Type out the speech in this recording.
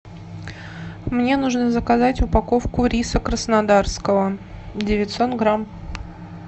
мне нужно заказать упаковку риса краснодарского девятьсот грамм